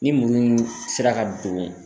Ni muruw sera ka don